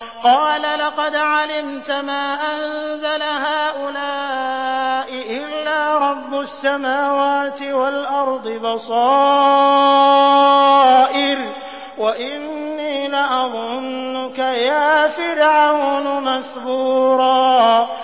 قَالَ لَقَدْ عَلِمْتَ مَا أَنزَلَ هَٰؤُلَاءِ إِلَّا رَبُّ السَّمَاوَاتِ وَالْأَرْضِ بَصَائِرَ وَإِنِّي لَأَظُنُّكَ يَا فِرْعَوْنُ مَثْبُورًا